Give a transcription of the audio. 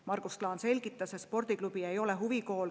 Margus Klaan selgitas, et spordiklubi ei ole huvikool.